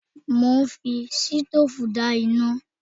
Mo ń fi sitóòfù dá iná